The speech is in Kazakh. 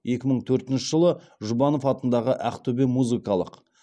екі мың төртінші жылы жұбанов атындағы ақтөбе музыкалық